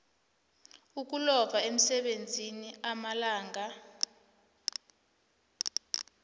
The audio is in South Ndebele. ukulova emsebenzini amalanga